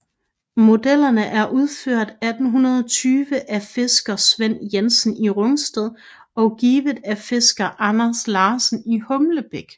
Modellen er udført 1820 af fisker Svend Jensen i Rungsted og givet af fisker Anders Larsen i Humlebæk